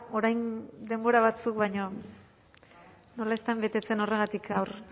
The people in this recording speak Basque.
orain denbora batzuk baina nola ez den betetzen horregatik gaur